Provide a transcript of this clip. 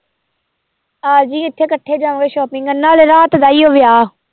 ਆ ਜਾਈ ਇੱਥੇ ਇਕੱਠੇ ਜਾਵਾਂਗੇ shopping ਕਰਨ ਨਾਲੇ ਰਾਤ ਦਾ ਹੀ ਵਿਆਹ।